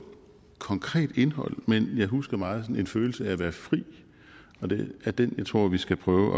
konkret indhold men jeg husker meget en følelse af at være fri og det er den jeg tror vi skal prøve